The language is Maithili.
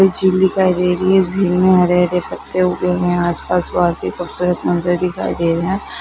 एक झील दिखाई दे रही है झील मे हरे-भरे पत्ते उगे है आस-पास बहुत ही खूबसूरत मंदिर दिखाई दे रहे है।